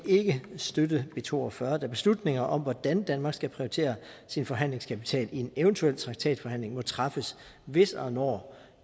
støtte b to og fyrre da beslutninger om hvordan danmark skal prioritere sin forhandlingskapital i en eventuel traktatforhandling må træffes hvis og når